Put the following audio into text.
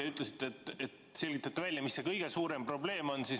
Te ütlesite, et selgitate välja, mis see kõige suurem probleem on.